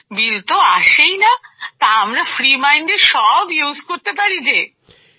বিল তো আসেই না তা আমরা ফ্রি মাইন্ডে সব ইউজ করতে পারি যেঁ